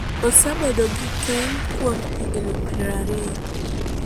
Osebedo gi keny kuom higni prariyo.